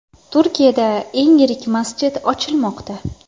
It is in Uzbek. Turkiyada eng yirik masjid ochilmoqda .